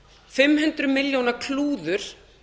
fimm hundruð milljóna klúður